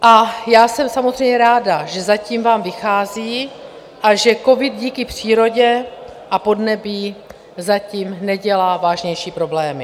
A já jsem samozřejmě ráda, že zatím vám vychází a že covid díky přírodě a podnebí zatím nedělá vážnější problémy.